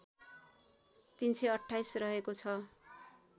३२८ रहेको छ